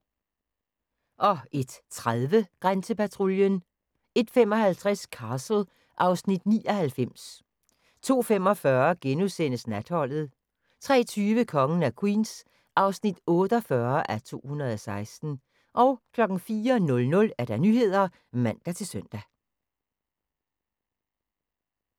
01:30: Grænsepatruljen 01:55: Castle (Afs. 99) 02:45: Natholdet * 03:20: Kongen af Queens (48:216) 04:00: Nyhederne (man-søn)